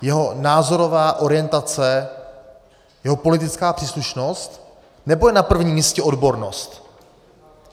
Jeho názorová orientace, jeho politická příslušnost, nebo je na prvním místě odbornost?